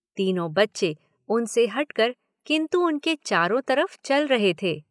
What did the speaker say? तीनों बच्चे उनसे हट कर किन्तु उनके चारों तरफ चल रहे थे।